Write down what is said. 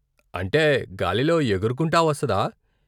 అంటే గాలిలో ఎగురుకుంటా వస్తదా?